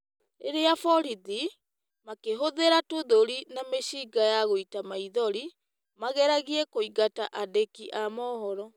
Rĩrĩa borithi, makĩhũthĩra tũthũri na mĩcinga ya gũita maithori, mageragia kũingata andĩki a mohoro.